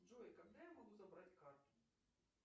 джой когда я могу забрать карту